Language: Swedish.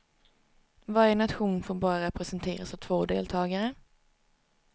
Varje nation får bara representeras av två deltagare.